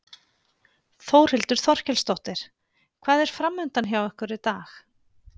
Þórhildur Þorkelsdóttir: Hvað er framundan hjá ykkur í dag?